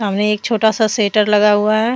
में एक छोटा सा सेटर लगा हुआ है।